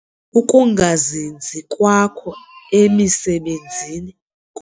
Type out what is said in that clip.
Ukungazinzi kwakho emisebenzini ku.